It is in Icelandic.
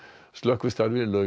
slökkvistarfi lauk